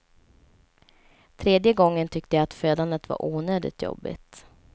Tredje gången tyckte jag att födandet var onödigt jobbigt.